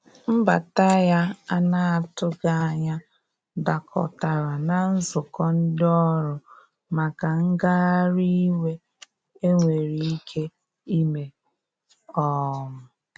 Mbata ya ana atụghi anya dakọtara na nzụkọ ndi ọrụ maka ngahari iwe enwere ike ime. um